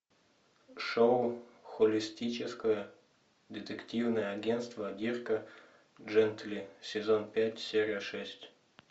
шоу холистическое детективное агентство дирка джентли сезон пять серия шесть